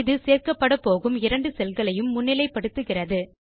இது சேர்க்கப்படப்போகும் இரண்டு செல்களையும் முன்னிலைப்படுத்துகிறது